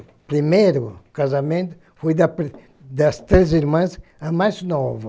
O primeiro casamento foi da prime das três irmãs, a mais nova.